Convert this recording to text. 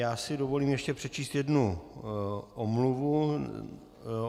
Já si dovolím ještě přečíst jednu omluvu.